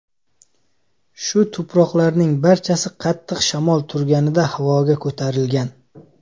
Shu tuproqlarning barchasi qattiq shamol turganida havoga ko‘tarilgan.